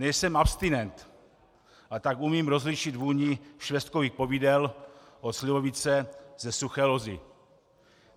Nejsem abstinent, a tak umím rozlišit vůni švestkových povidel od slivovice ze Suché Lozi.